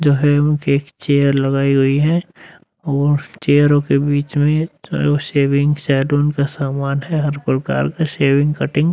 जो है वो की चेयर लगाई हुई है और चेयर ओ की बीच में जो है वो सेविंग सलून का सामान है हर प्रकार का सेविंग कटिंग --